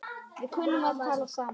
Við kunnum að tala saman.